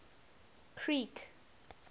creek